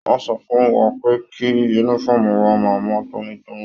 Wọn sọ fún wà pẹ kí yúnífọ̀ọ́mù wà máa mọ tónítóní.